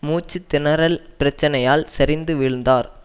மூச்சு திணறல் பிரச்சனையால் சரிந்து வீழ்ந்தார்